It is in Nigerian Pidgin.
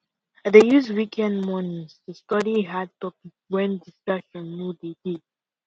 i dey use weekend mornings to study hard topic wen no dey dey